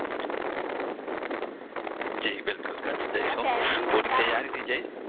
જી બિલકુલ કચ્છ જઈશ હું પુરી તૈયારીથી જઈશ